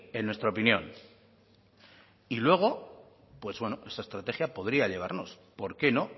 en nuestra opinión y luego esta estrategia podría llevarnos por qué no